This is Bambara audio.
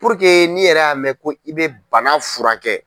n'i yɛrɛ y'a mɛn ko i bɛ bana fura kɛ.